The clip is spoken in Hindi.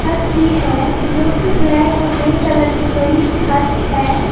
छत भी है जो की ब्लैक और ग्रे कलर की बड़ी छत है।